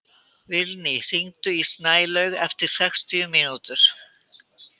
Vilný, hringdu í Snælaug eftir sextíu mínútur.